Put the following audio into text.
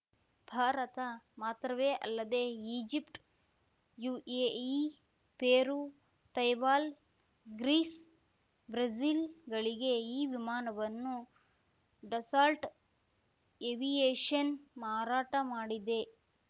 ಭಾರತ ಮಾತ್ರವೇ ಅಲ್ಲದೇ Egypt UAE Peru Taiwan Greece ಬ್ರೆಜಿಲ್‌ಗಳಿಗೆ ಈ ವಿಮಾನವನ್ನು ಡಸಾಲ್ಟ್‌ ಏವಿಯೇಷನ್‌ ಮಾರಾಟ ಮಾಡಿದೆ